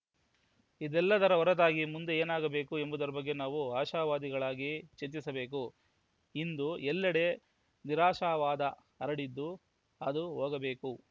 ಇದೆಲ್ಲದರ ಹೊರತಾಗಿ ಮುಂದೆ ಏನಾಗಬೇಕು ಎಂಬುದರ ಬಗ್ಗೆ ನಾವು ಆಶಾವಾದಿಗಳಾಗಿ ಚಿಂತಿಸಬೇಕು ಇಂದು ಎಲ್ಲೆಡೆ ನಿರಾಶವಾದ ಹರಡಿದ್ದು ಅದು ಹೋಗಬೇಕು